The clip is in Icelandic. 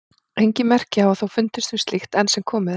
Engin merki hafa þó fundist um slíkt enn sem komið er.